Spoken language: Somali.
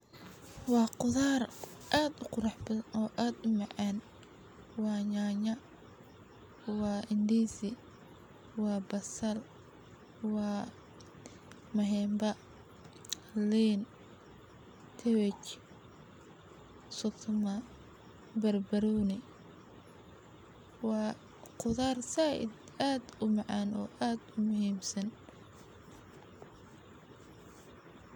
Waa qudhaar aad u qurax badan oo aad u macan waa nyanya waa ndizi waa basal waa mahenba lin sukuma bar baroni waa qudhaar said aad u macan oo aad u muhiim san.